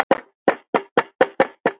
Hver verða lyktir málsins Birgir?